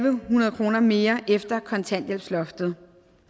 en hundrede kroner mere efter kontanthjælpsloftet